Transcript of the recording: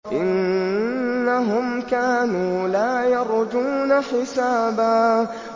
إِنَّهُمْ كَانُوا لَا يَرْجُونَ حِسَابًا